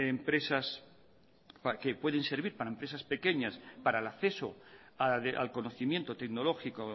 empresas que pueden servir para empresas pequeñas para el acceso al conocimiento tecnológico